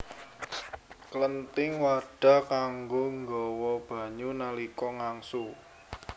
Klenthing wadhah kanggo nggawa banyu nalika ngangsu